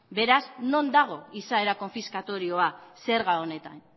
beraz non dago izaera konfiskatorioa zerga honetan